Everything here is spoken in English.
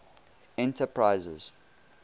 enterprises